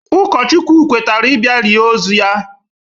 Ụkọchukwu kwetere ị bịa lie ozu ya